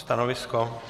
Stanovisko?